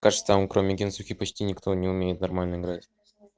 кажется там кроме кентукки почти никто не умеет нормально играть